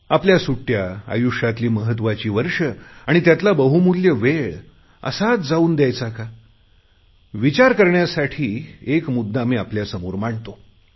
आपल्या सुट्टया आयुष्यातील महत्त्वाचे वर्ष आणि त्यातला बहुमूल्य वेळ असाच जाऊ दयायचा का विचार करण्यासाठी एक मुद्दा मी आपल्यासमोर मांडतो